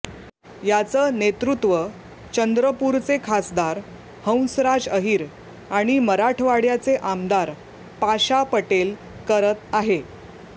याचं नेतृत्व चंद्रपूरचे खासदार हंसराज अहिर आणि मराठवाड्याचे आमदार पाशा पटेल करत आहे